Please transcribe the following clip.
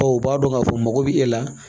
Bawo u b'a dɔn k'a fɔ mago bɛ e la